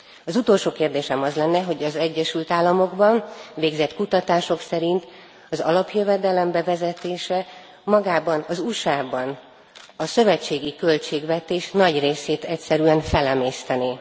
Az utolsó kérdésem az lenne, hogy az Egyesült Államokban végzett kutatások szerint az alapjövedelem bevezetése magában az USA ban a szövetségi költségvetés nagy részét egyszerűen felemésztené.